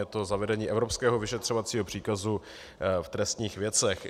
Je to zavedení evropského vyšetřovacího příkazu v trestních věcech.